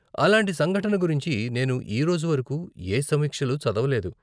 అలాంటి సంఘటన గురించి నేను ఈ రోజు వరకు ఏ సమీక్షలు చదవలేదు.